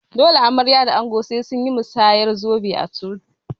Dole amarya da ango sai sunyi masayar zobe a coci